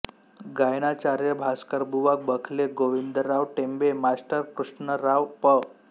गायनाचार्य Bhaskarbuwa Bakhle Govindrao Tembe master Krishnarao Pandit